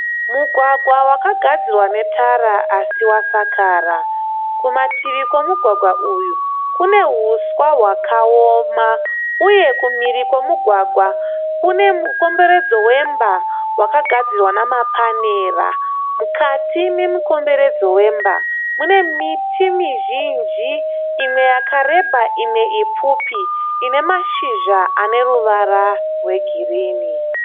Mugwagwa wakagadzirwa netara asi wasakara. Kumativi kwemugwagwa uyu kune huswa hwakaoma uye kumhiri kwemugwagwa kune mukomberedzo wemba wakagadzirwa namapanera. Mukati memukomberedzo wemba mune miti mizhinji imwe yakareba imwe ipfupi ine mashizha aneruvara rwegirini.